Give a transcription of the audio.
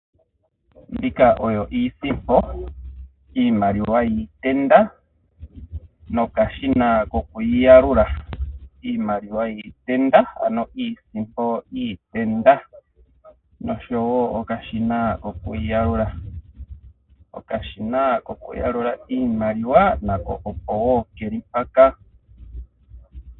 Mbika oyo iisimpoi, iimaliwa yiitenda, no kashina ko ku yiyalula. Iimaliwa yiitenda, ano iisimpo yiitenda noshowo okashina koku yi yalula. Okashina ko ku yalula iimaliwa nako opo wo keli mpaka.